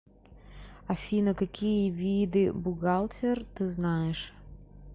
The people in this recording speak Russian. афина какие виды бухгалтер ты знаешь